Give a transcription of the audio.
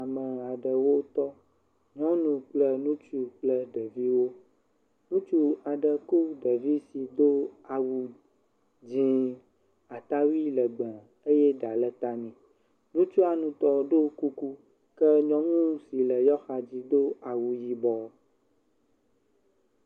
Ame aɖewo tɔ. Nyɔnu kple ŋutsu kple ɖeviwo. Ŋutsu aɖe kɔ ɖevi si do awu dzɛ̃, atawui legbẽ eye ɖa le ta nɛ. Ŋutsua ŋutɔ ɖo kuku ke nyɔnu si le yewoa xadzi do awu yibɔ.